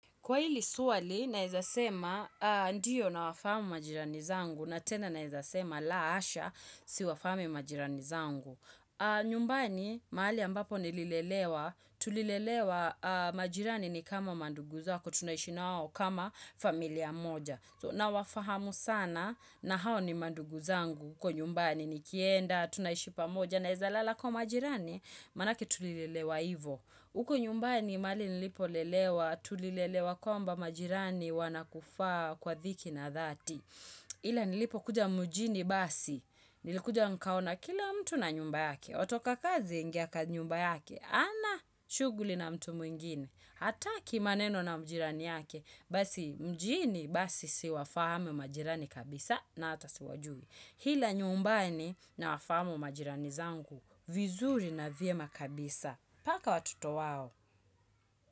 Kwa hili swali, naweza sema ndiyo nawafahamu majirani zangu, na tena naweza sema la asha siwafahamu majirani zangu. Nyumbani, mahali ambapo nililelewa, tulilelewa majirani ni kama mandugu zako, tunaishi na wao kama familia moja. Nawafahamu sana, na hao ni mandugu zangu huko nyumbani nikienda tunaishi pamoja, naweza lala kwa majirani, manake tulilelewa hivyo. Huku nyumbani mahali nilipolelewa, tulilelewa kwamba majirani wanakufaa kwa thiki na dhati. Ila nilipo kuja mjini basi, nilikuja nikaona kila mtu na nyumba yake. Watoka kazi aingia kwa nyumba yake, hana shughuli na mtu mwingine. Hata kimaneno na jirani yake, basi mjini basi siwafahamu majirani kabisa na hata siwajui. Ila nyumbani nawafahamu majirani zangu vizuri na vyema kabisa. Mpaka watoto wao.